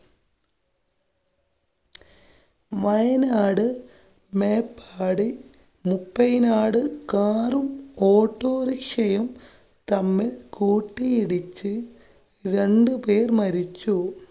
മയനാട് മേപ്പാടി മുപ്പയ്നാട്, കാറും ഓട്ടോറിക്ഷയും തമ്മില്‍ കൂട്ടിയിടിച്ച് രണ്ടു പേര്‍ മരിച്ചു.